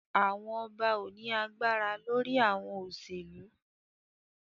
Awọn ọba o ni agbara lori awọn oselu